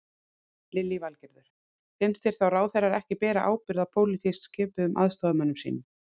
Lillý Valgerður: Finnst þér þá ráðherrar ekki bera ábyrgð á pólitískt skipuðum aðstoðarmönnum sínum?